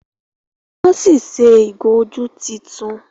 wón sí ṣe ìgò ojú títún